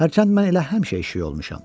Hərçənd mən elə həmişə eşşək olmuşam.